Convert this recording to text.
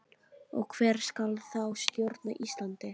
Og hver skal þá stjórna Íslandi?